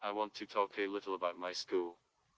авантел кейлоба москву